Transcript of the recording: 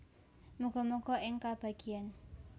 Muga muga ing kabagyan